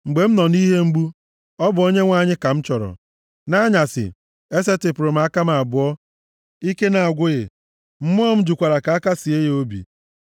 Mgbe m nọ nʼihe mgbu, ọ bụ Onyenwe anyị ka m chọrọ. Nʼanyasị, esetipụrụ m aka m abụọ, ike na-agwụghị, mmụọ m jụkwara ka a akasịe ya obi.